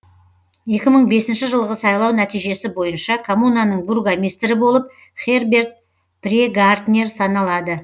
екі мың бесінші жылғы сайлау нәтижесі бойынша коммунаның бургомистрі болып херберт прегартнер саналады